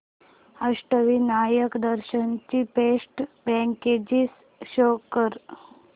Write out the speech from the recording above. अष्टविनायक दर्शन ची best packages show कर